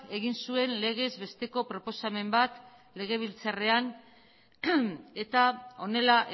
egin zuen legez besteko proposamen bat legebiltzarrean eta honela